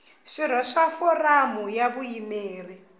swirho swa foramu ya vuyimeri